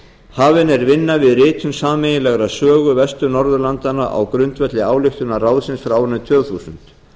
hafin er vinna við ritun sameiginlegrar sögu vestur norðurlandanna á grundvelli ályktunar ráðsins frá árinu tvö þúsund